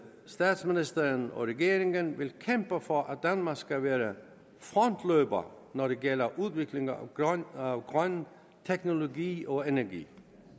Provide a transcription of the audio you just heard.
statsministeren og regeringen vil kæmpe for at danmark skal være frontløber når det gælder udvikling af grøn teknologi og energi